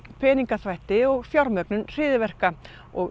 peningaþvætti og fjármögnun hryðjuverka og